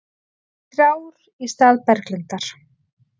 Þrjár í stað Berglindar